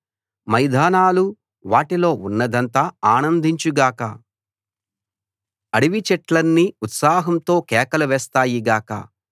మైదానాలు వాటిలో ఉన్నదంతా ఆనందించు గాక అడవి చెట్లన్నీ ఉత్సాహంతో కేకలు వేస్తాయి గాక